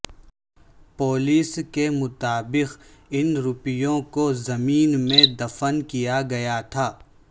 police کے مطابق ان روپیوں کو زمین میں دفن کیا گیا تھا